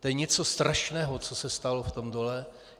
To je něco strašného, co se stalo v tom dole.